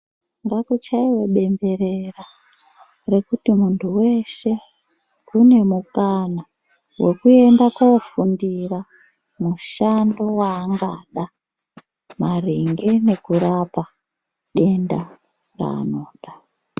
Ngakuchaiwe bemberera rekuti munthu weshe une mukana wekuenda koofundira mushando waangada maringe nekurapa denda raanoda.